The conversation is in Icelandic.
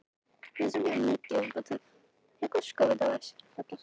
Þyrí, læstu útidyrunum.